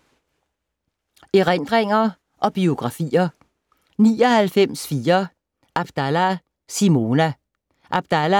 Erindringer og biografier